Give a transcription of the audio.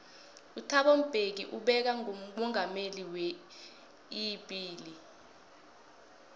uthabo mbeki beka ngomongameli weibili